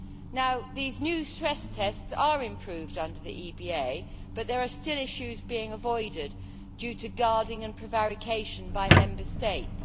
Now these new stress tests are improved under the EBA but there are still issues being avoided due to guarding and prevarication by Member States.